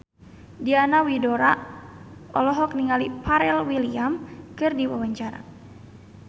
Diana Widoera olohok ningali Pharrell Williams keur diwawancara